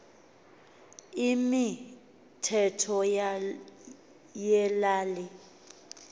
imi thetho yelali